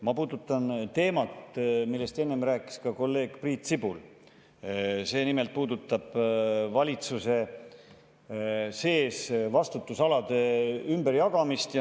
Ma puudutan teemat, millest enne rääkis ka kolleeg Priit Sibul, nimelt valitsuse sees vastutusalade ümberjagamist.